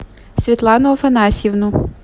светлану афанасьевну